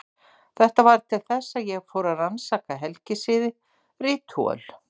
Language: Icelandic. Þetta varð til þess að ég fór að rannsaka helgisiði, ritúöl.